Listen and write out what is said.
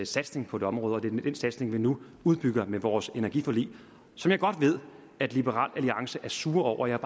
satsning på det område og det er den satsning vi nu udbygger med vores energiforlig som jeg godt ved at liberal alliance er sure over jeg